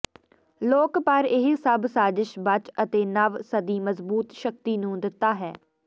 ਲੋਕ ਪਰ ਇਹ ਸਭ ਸਾਜ਼ਿਸ਼ ਬਚ ਅਤੇ ਨਵ ਸਦੀ ਮਜ਼ਬੂਤ ਸ਼ਕਤੀ ਨੂੰ ਦਿੱਤਾ ਹੈ